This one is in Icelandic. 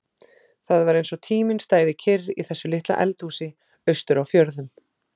Það var eins og tíminn stæði kyrr í þessu litla eldhúsi austur á fjörðum.